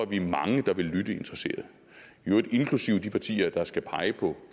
vi er mange der vil lytte interesseret i øvrigt inklusive de partier der skal pege på